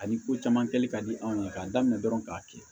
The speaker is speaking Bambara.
Ani ko caman kɛli ka di anw ye k'an daminɛ dɔrɔn k'a kɛ